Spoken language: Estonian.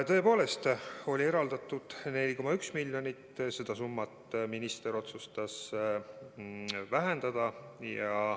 Tõepoolest, eraldatud oli 4,1 miljonit eurot ja minister otsustas seda summat vähendada.